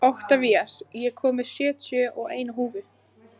Oktavías, ég kom með sjötíu og eina húfur!